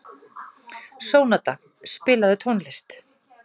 Sónata, spilaðu tónlist.